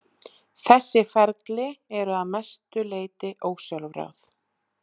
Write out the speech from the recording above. Þessi ferli eru að mestu leyti ósjálfráð.